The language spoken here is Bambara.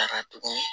Taga tugun